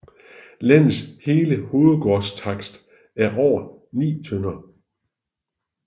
Landets hele hovedgårdstakst er over 9 tdr